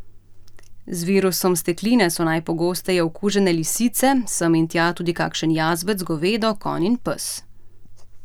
Z virusom stekline so najpogosteje okužene lisice, sem in tja tudi kakšen jazbec, govedo, konj in pes.